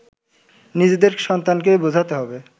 নিজেদের সন্তানকে বোঝাতে হবে